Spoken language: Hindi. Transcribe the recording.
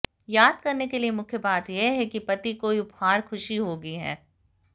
याद करने के लिए मुख्य बात यह है कि पति कोई उपहार खुशी होगी है